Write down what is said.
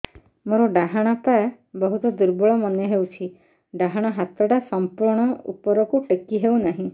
ମୋର ଡାହାଣ ପାଖ ବହୁତ ଦୁର୍ବଳ ମନେ ହେଉଛି ଡାହାଣ ହାତଟା ସମ୍ପୂର୍ଣ ଉପରକୁ ଟେକି ହେଉନାହିଁ